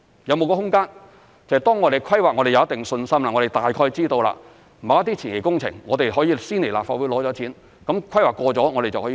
有沒有空間，當我們對規劃有一定信心，我們大概知道要做某些前期工程，可以先來立法會申請撥款，當規劃過了就可以做。